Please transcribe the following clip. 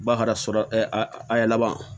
Ba ka sura a y'a laban